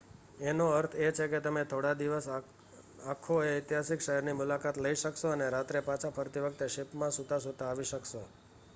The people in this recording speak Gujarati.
એનો અર્થ એ છે કે તમે થોડા દિવસ દિવસ આખો એ ઐતિહાસિક શહેરની મુલાકાત લઈ શકશો અને રાત્રે પાછા ફરતી વખતે શીપમાં સુતા-સુતા આવી શકશો